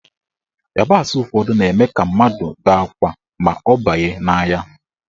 Ịyabasị ụfọdụ na-eme ka mmadụ bee akwa ma ọ banye n'anya.